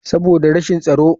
Saboda rashin tsaro.